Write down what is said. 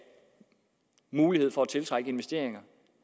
mulighed for at tiltrække investeringer